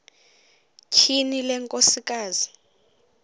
tyhini le nkosikazi